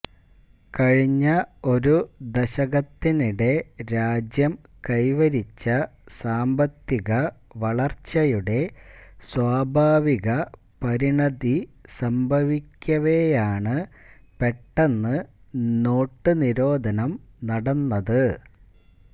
കഴിഞ്ഞ ഒരു ദശകത്തിനിടെ രാജ്യം കൈവരിച്ച സാമ്പത്തിക വളർച്ചയുടെ സ്വാഭാവിക പരിണതി സംഭവിക്കവെയാണ് പെട്ടെന്ന് നോട്ടുനിരോധനം നടന്നത്